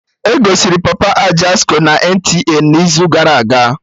Egosiri Papa Ajasco na NTA n'izu gara aga